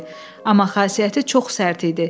Amma xasiyyəti çox sərt idi.